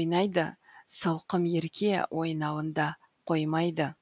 ойнайды сылқым ерке ойнауында қоймайды